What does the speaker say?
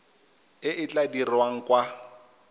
e e tla dirwang kwa